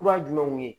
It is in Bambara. Kura jumɛn kun ye